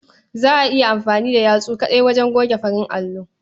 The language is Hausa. Za a iya amfani da yatsu kaɗai wajen goge farin allo.